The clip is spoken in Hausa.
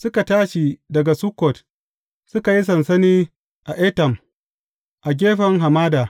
Suka tashi daga Sukkot, suka yi sansani a Etam, a gefen hamada.